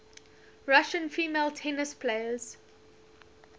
russian female tennis players